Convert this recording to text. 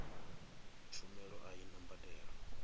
tshumelo a i na mbadelo